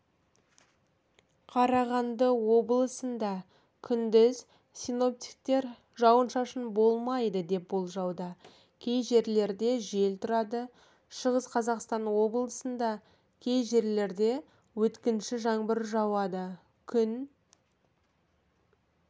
қарағанды облысында күндіз синоптиктер жауын-шашын болмайды деп болжауда кей жерлерде жел тұрады шығыс қазақстан облысында ей жерлерде өткінші жаңбыр жауады күн